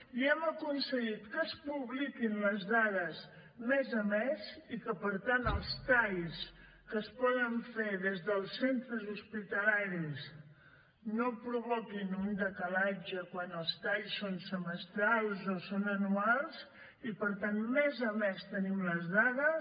i hem aconseguit que es publiquin les dades mes a mes i que per tant els talls que es poden fer des dels centres hospitalaris no provoquin un decalatge quan els talls són semestrals o són anuals i per tant mes a mes tenim les dades